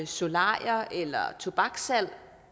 solarier eller tobakssalg